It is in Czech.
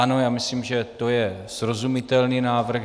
Ano, já myslím, že to je srozumitelný návrh.